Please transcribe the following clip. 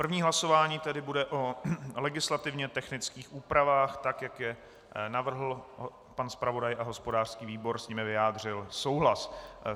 První hlasování tedy bude o legislativně technických úpravách, tak jak je navrhl pan zpravodaj a hospodářský výbor s nimi vyjádřil souhlas.